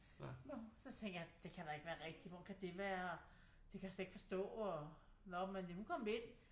Så tænkte jeg at det kan da ikke være rigtigt hvordan kan det være og det kan jeg slet ikke forstå og nå men hun kom ind